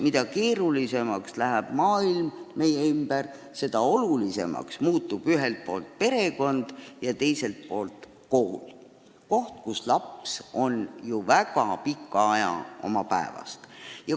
Mida keerulisemaks läheb maailm meie ümber, seda olulisemaks muutub ühelt poolt perekond ja teiselt poolt kool – koht, kust laps on ju päeva jooksul väga suure osa oma ajast.